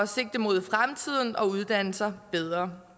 sigte mod fremtiden og uddanne sig bedre